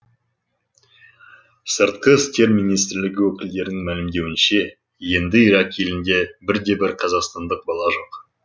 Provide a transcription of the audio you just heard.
сыртқы істер министрлігі өкілдерінің мәлімдеуінше енді ирак елінде бірде бір қазақстандық бала жоқ